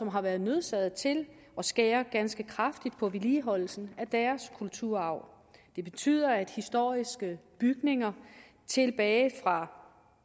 har været nødsaget til at skære ganske kraftigt på vedligeholdelsen af deres kulturarv det betyder at historiske bygninger tilbage fra